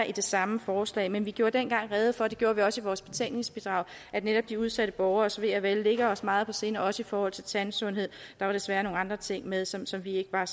i det samme forslag men vi gjorde dengang rede for og det gjorde vi også i vores betænkningsbidrag at netop de udsatte borgeres ve og vel lå os meget på sinde også i forhold til tandsundhed der var desværre nogle andre ting med som som vi ikke var